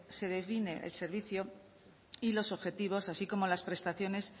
se define el servicio y los objetivos así como las prestaciones